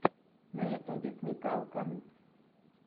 на ютюбе смекалка